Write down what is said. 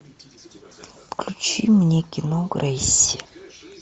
включи мне кино грейси